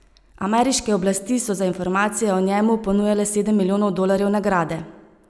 Ameriške oblasti so za informacije o njemu ponujale sedem milijonov dolarjev nagrade.